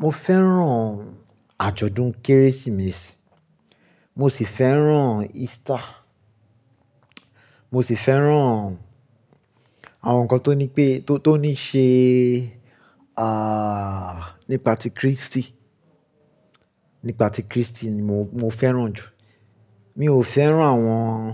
Mo fẹ́ràn àjọ̀dún Kérésìmesì, mo sì fẹ́ràn Easter, mo sì fẹ́ràn àwọn nǹkan tó ní pé-- tó, tó ní ṣe, ah, nípa ti Krístì, nípa ti Krístì ni mo, mo fẹ́ràn jù. Mi ò fẹ́ràn àwọn,